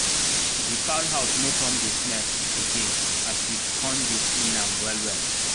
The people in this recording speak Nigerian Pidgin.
the fowl house no come dey smell again as we con dey clean am well well